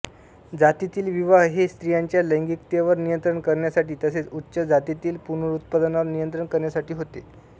जातीतील विवाह हे स्त्रियांच्या लैंगिकतेवर नियंत्रण करण्यासाठी तसेच उच्च जातीतील पुनरुत्पादनावर नियंत्रण करण्यासाठी होते